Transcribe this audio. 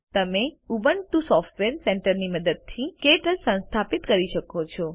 તમે Ubuntu software સેન્ટરની મદદથી ક્ટચ સંસ્થાપિત કરી શકો છો